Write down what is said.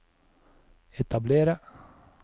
etablere